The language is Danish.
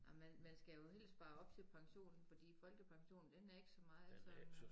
Ej men man skal jo helst spare op til pensionen fordi folkepensionen den er ikke så meget som øh